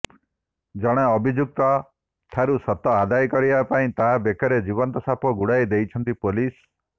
ଜଣେ ଅଭିଯୁକ୍ତ ଠାରୁ ସତ ଆଦାୟ କରିବା ପାଇଁ ତା ବେକରେ ଜୀବନ୍ତ ସାପ ଗୁଡ଼େଇ ଦେଇଛନ୍ତି ପୋଲିସ